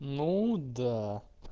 ну да